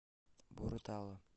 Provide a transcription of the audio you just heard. боро тала